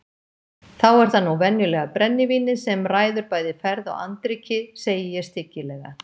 Þá er það nú venjulega brennivínið sem ræður bæði ferð og andríki, segi ég stygglega.